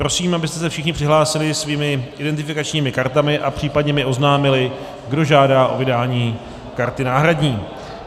Prosím, abyste se všichni přihlásili svými identifikačními kartami a případně mi oznámili, kdo žádá o vydání karty náhradní.